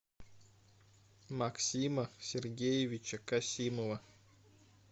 максима сергеевича касимова